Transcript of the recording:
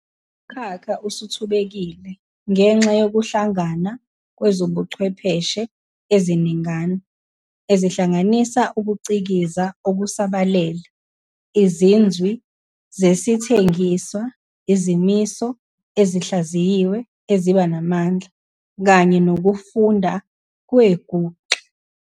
Lomkhakha usuthubekile ngenxa yokuhlangana kwezobuchwepheshe eziningana, ezihlanganisa ukucikiza okusabalele, izinzwi zesithengiswa, izimiso ezihlayiziwe eziba namandla, kanye nokufunda kwenguxa.